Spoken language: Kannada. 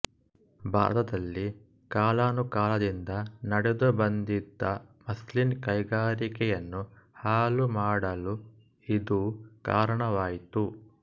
ಭಾರತದಲ್ಲಿ ಕಾಲಾನುಕಾಲದಿಂದ ನಡೆದುಬಂದಿದ್ದ ಮಸ್ಲಿನ್ ಕೈಗಾರಿಕೆಯನ್ನು ಹಾಳುಮಾಡಲು ಇದೂ ಕಾರಣವಾಯಿತು